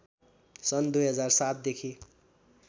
सन् २००७ देखि